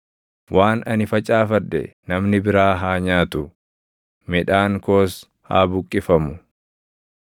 waan ani facaafadhe namni biraa haa nyaatu; midhaan koos haa buqqifamu.